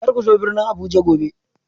Kar ku zo birnin Abuja gobe